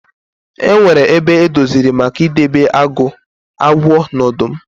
E nwere ebe edoziri maka ị debe agụ, agwọ na ọdụm.